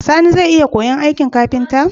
Sani zai iya koyan aikin kafinta?